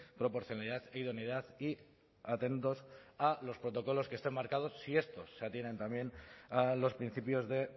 proporcionalidad idoneidad y atentos a los protocolos que están marcados si estos se atienen también a los principios de